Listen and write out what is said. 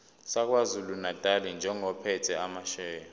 sakwazulunatali njengophethe amasheya